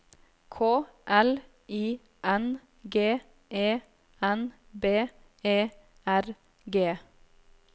K L I N G E N B E R G